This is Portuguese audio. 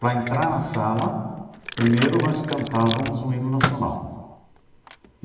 Para entrar na sala, primeiro nós cantávamos o hino nacional.